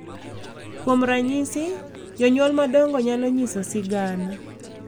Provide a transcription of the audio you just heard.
Kuom ranyisi, jonyuol madongo nyalo nyiso sigana